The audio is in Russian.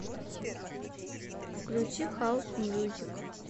включи хаус мьюзик